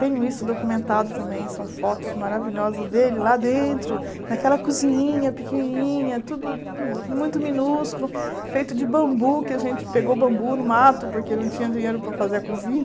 Tenho isso documentado também, são fotos maravilhosas dele lá dentro, naquela cozininha pequenininha, tudo muito minúsculo, feito de bambu, que a gente pegou bambu no mato, porque não tinha dinheiro para fazer a cozinha.